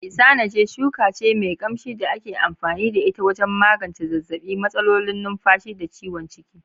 Isanaje shuka ce mai kamshi da ake amfani da ita wajen magance zazzaɓi, matsalolin numfashi, da ciwon ciki.